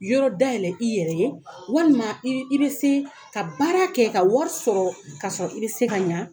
Yɔrɔ dayɛlɛ i yɛrɛ ye walima i i bɛ se ka baara kɛ ka wari sɔrɔ ka sɔrɔ i bɛ se ka ɲɛ